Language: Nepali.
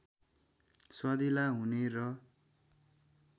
स्वादिला हुने र